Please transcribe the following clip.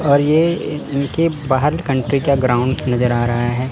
और ये इनके बाहर कंट्री का ग्राउंड नजर आ रहा है।